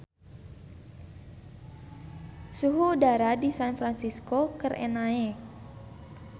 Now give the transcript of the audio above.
Suhu udara di San Fransisco keur naek